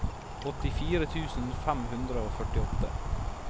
åttifire tusen fem hundre og førtiåtte